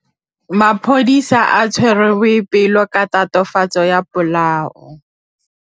Maphodisa a tshwere Boipelo ka tatofatsô ya polaô.